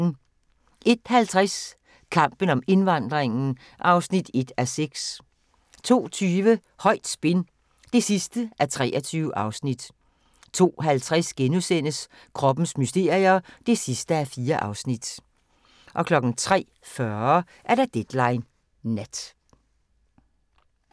01:50: Kampen om indvandringen (1:6) 02:20: Højt spin (23:23) 02:50: Kroppens mysterier (4:4)* 03:40: Deadline Nat